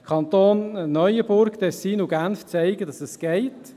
Die Kantone Neuenburg, Tessin und Genf zeigen, dass es geht.